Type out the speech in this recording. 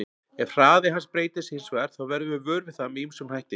Ef hraði hans breytist hins vegar þá verðum við vör við það með ýmsum hætti.